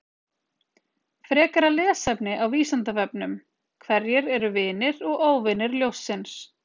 Frekara lesefni á Vísindavefnum: Hverjir eru vinir og óvinir ljónsins?